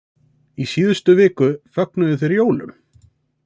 Í síðustu viku fögnuðu þeir jólum.